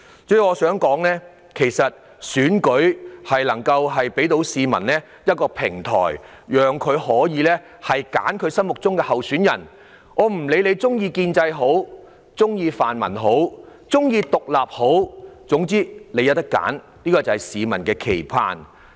主席，選舉為市民提供一個平台，讓他們揀選心目中的候選人，無論他們屬意建制、泛民或獨立人士，他們也是有選擇的，這正是市民的期盼。